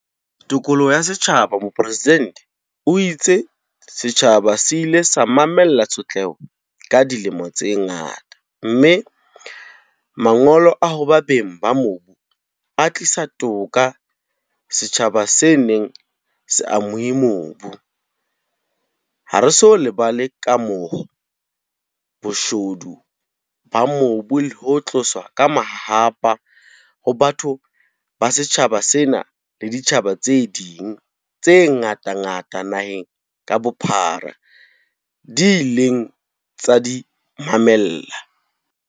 Tokoloho ya setjhabaMopresidente o itse setjhaba se ile sa mamella tshotleho ka dilemo tse ngata mme Mangolo a hoba beng ba mobu a tlisa toka ho setjhaba se neng se amohuwe mobu. Ha re so lebale kamoho, boshodu ba mobu le ho tloswa ka mahahapa ha batho ba setjhaba sena le ditjhaba tse ding tse ngatangata naheng ka bophara di ileng tsa di mamella.